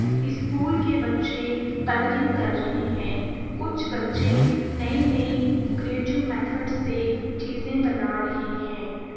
School के बच्चे colouring कर रहे हैं कुछ बच्चे नए नए क्रिएटिव मेथड से चीजे बना रहे हैं ।